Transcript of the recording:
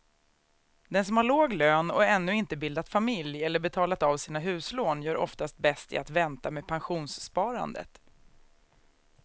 Den som har låg lön och ännu inte bildat familj eller betalat av sina huslån gör oftast bäst i att vänta med pensionssparandet.